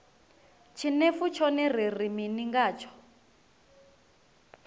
tshinefu tshone ri ri mini ngatsho